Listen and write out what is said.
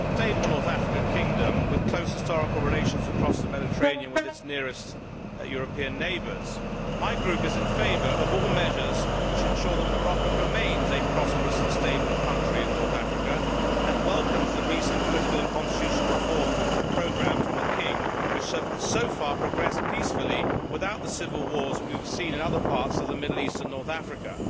Mr President, Morocco is a stable North African kingdom with close historical relations across the Mediterranean to its nearest European neighbours. My Group is in favour of all measures which ensure that Morocco remains a prosperous and stable country in North Africa and welcomes the recent political and constitutional reform programme from the King, which has so far progressed peacefully without the civil wars that we have seen in other parts of the Middle East and North Africa.